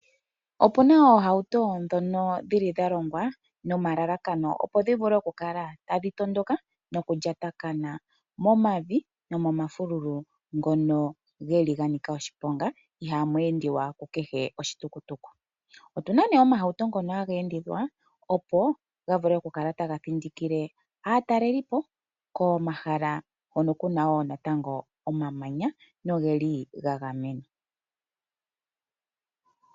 Opuna oohauto dhono dhili dha longwa, nomalalakano opo dhi vule oku kala tadhi tondoka noku lyatakana momavi nomomafululu ngono geli ga nika oshiponga, iha mu endiwa ku kehe oshitukutuku. Otuna omahauto ngono haga endithwa opo ga vule oku kala taga thindikile aatalelipo komahala hono kuna natango omamanya, no geli ga gamenwa.